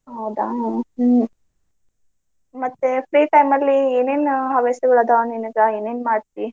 ಹೌದಾ ಹ್ಮ್ ಮತ್ತೆ free time ಅಲ್ಲಿ ಏನೇನ್ ಹವ್ಯಾಸಗಳ್ ಅದಾವ್ ನಿನಗ ಏನೇನ್ ಮಾಡ್ತಿ?